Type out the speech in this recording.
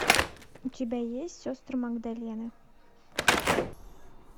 у тебя есть сестры магдалины